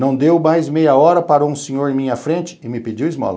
Não deu mais meia hora, parou um senhor em minha frente e me pediu esmola.